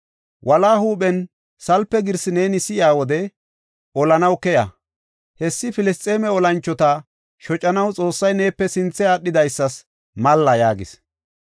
Wola huuphen salpe girsi neeni si7iya wode olanaw keya. Hessi Filisxeeme olanchota shocanaw Xoossay neepe sinthe aadhidaysas malla” yaagis.